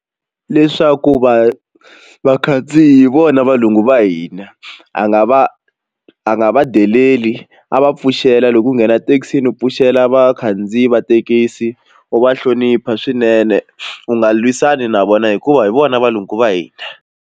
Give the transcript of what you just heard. Leswaku va vakhandziyi hi vona valungu va hina a nga va a nga deleli a va pfuxela loko u nghena thekisini pfuxela vakhandziyi va thekisi u va hlonipha swinene u nga lwisani na vona hikuva hi vona valungu va hina.